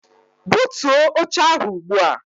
Butuo oche ahụ ugbu a!